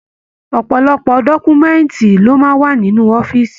Ọpọlọpọ dọkumẹ̀ntí ló máa n wà nínú ọ̀fiísí.